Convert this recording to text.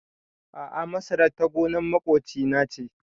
A'a masarar ta gonar maƙoci na ce